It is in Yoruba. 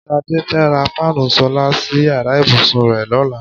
S̩adé fe̩ rá fáànù sólà sí yàrá ìbùsùn rè̩ ló̩la.